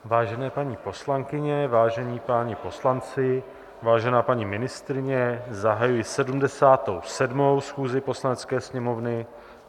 Vážené paní poslankyně, vážení páni poslanci, vážená paní ministryně, zahajuji 77. schůzi Poslanecké sněmovny.